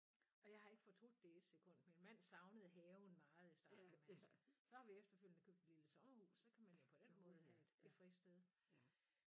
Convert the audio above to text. Og jeg har ikke fortrudt det i 1 sekund min mand savnede haven meget i starten altså så har vi efterfølgende købt et lille sommerhus så kan man jo på den måde have et et fristed